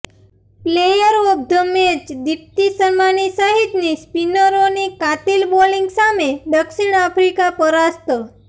player of the match Deepti શર્માની સહિતની સ્પિનરોની કાતિલ બોલિંગ સામે દક્ષિણ આફ્રિકા પરાસ્ત